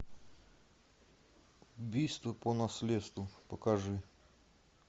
убийство по наследству покажи